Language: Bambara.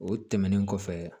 O tɛmɛnen kɔfɛ